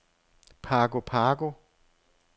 Pago Pago